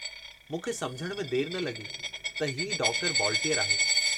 मूंखे समुझण में देर न लगी त हीउ डॉक्टर बॉलटीअर आहे।